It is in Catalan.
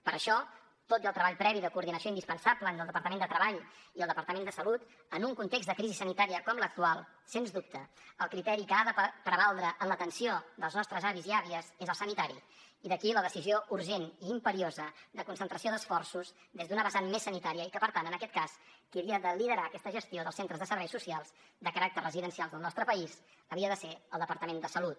per això tot i el treball previ de coordinació indispensable entre el departament de treball i el departament de salut en un context de crisi sanitària com l’actual sens dubte el criteri que ha de prevaldre en l’atenció dels nostres avis i àvies és el sanitari i d’aquí la decisió urgent i imperiosa de concentració d’esforços des d’una vessant més sanitària i que per tant en aquest cas qui havia de liderar aquesta gestió dels centres de serveis socials de caràcter residencial del nostre país havia de ser el departament de salut